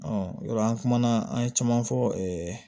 yɔrɔ an kumana an ye caman fɔ